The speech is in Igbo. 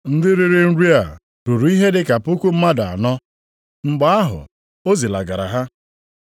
Ndị riri nri a ruru ihe dịka puku mmadụ anọ. Mgbe ahụ o zilagara ha.